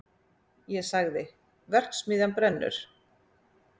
Ég sagði: verksmiðjan brennur!